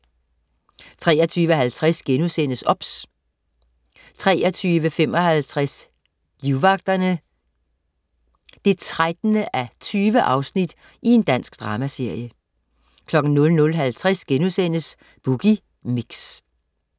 23.50 OBS* 23.55 Livvagterne. 13:20 Dansk dramaserie 00.50 Boogie Mix*